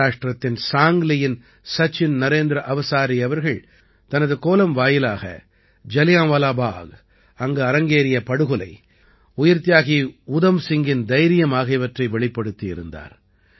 மகாராஷ்டிரத்தின் சாங்க்லியின் சச்சின் நரேந்திர அவசாரி அவர்கள் தனது கோலம் வாயிலாக ஜலியான்வாலா பாக் அங்கு அரங்கேறிய படுகொலை உயிர்த்தியாகி உதம் சிங்கின் தைரியம் ஆகியவற்றை வெளிப்படுத்தியிருந்தார்